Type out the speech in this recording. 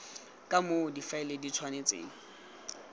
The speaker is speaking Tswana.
ka moo difaele di tshwanetseng